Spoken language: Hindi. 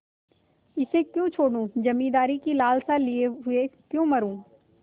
इसे क्यों छोडूँ जमींदारी की लालसा लिये हुए क्यों मरुँ